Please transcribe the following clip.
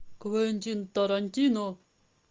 квентин тарантино